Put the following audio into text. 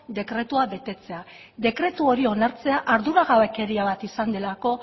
dekretua betetzea dekretu hori onartzea arduragabekeria bat izan delako